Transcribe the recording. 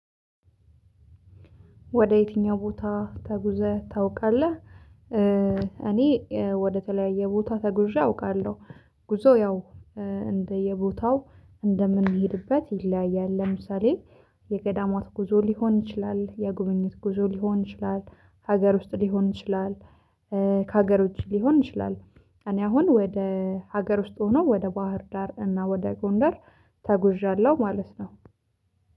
ወደ የትኛው ቦታ ተጉዘህ ታውቃለህ? እኔ ወደ ተለያየ ቦታ ተጉዣ አውቃለሁ። ጉዞ ያው እንደየቦታው እንደምንሄድበት ይለያያል። ለምሳሌ የገዳማት ጉዞ ሊሆን ይችላል የጉብኝት ጉዞ ሊሆን ይችላል። ሀገር ውስጥ ሊሆን ይችላል። ሀገሮች ሊሆን ይችላል። እኔ አሁን ወደ ሀገር ውስጥ ሆኖ ወደ ባህር ዳር እና ወደ ጎንደር ተጉዣለሁ ማለት ነው